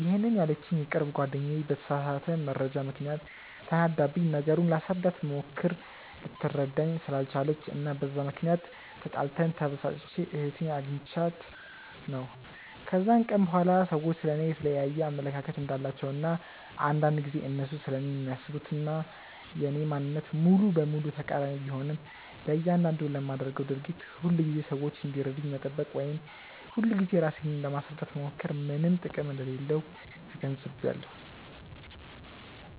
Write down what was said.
ይሄንን ያለችኝ የቅርብ ጓደኛዬ በተሳሳተ መረጃ ምክንያት ተናዳብኝ፤ ነገሩን ላስረዳት ብሞክር ልትረዳኝ ስላልቻለች እና በዛ ምክንያት ተጣልተን፤ ተበሳጭቼ እህቴ አግኝታኝ ነው። ከዛን ቀን በኋላ ሰዎች ስለ እኔ የየተለያየ አመለካከት እንዳላቸው እና አንዳንድ ጊዜ እነሱ ስለኔ የሚያስቡት እና የኔ ማንነት ሙሉ በሙሉ ተቃሪኒ ቢሆንም፤ ለያንዳንዱ ለማደርገው ድርጊት ሁልጊዜ ሰዎች እንዲረዱኝ መጠበቅ ወይም ሁልጊዜ ራሴን ለማስረዳት መሞከር ምንም ጥቅም እንደሌለው ተገንዝቢያለው።